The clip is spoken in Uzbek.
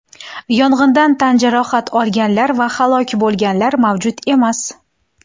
Yong‘indan tan jarohat olganlar va halok bo‘lganlar mavjud emas.